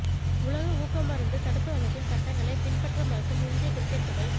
உலக ஊக்க மருந்து தடுப்பு அமைப்பின் சட்டங்களை பின்பற்ற மறுக்கும் இந்திய கிரிக்கட் சபை